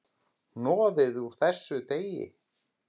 Hnoðið úr þessu deig.